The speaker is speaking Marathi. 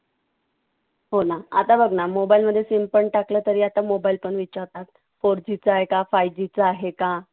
हो ना. आता बघ ना mobile मध्ये SIM पण टाकलं तरी आता mobile पण विचारतात four G चा आहे का? five G चा आहे का?